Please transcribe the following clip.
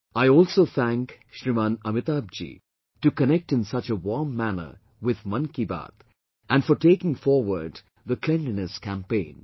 I also thank Shriman Amitabh Ji to connect in such a warm manner with 'Mann Ki Baat' and for taking forward the Cleanliness Campaign